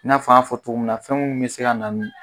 I n'a fɔ an y'a fɔ cogo min na fɛnw bɛ se ka na